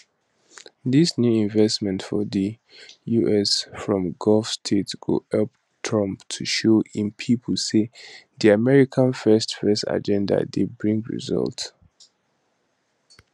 dis new investments for di us from gulf states go help trump to show im pipo say di america first first agenda dey bring results